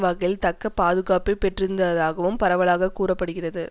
வகையில் தக்க பாதுகாப்பை பெற்றிருந்ததாகவும் பரவலாக கூற படுகிறது